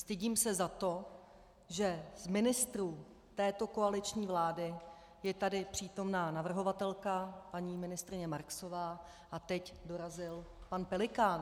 Stydím se za to, že z ministrů této koaliční vlády je tady přítomná navrhovatelka paní ministryně Marksová a teď dorazil pan Pelikán.